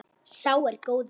Sá er góður.